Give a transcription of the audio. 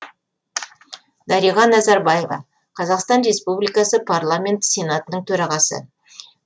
дариға назарбаева қазақстан республикасы парламенті сенатының төрағасы